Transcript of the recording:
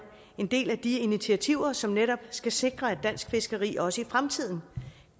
en del af de initiativer som netop skal sikre at dansk fiskeri også i fremtiden